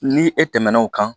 Ni e tɛmɛn'o kan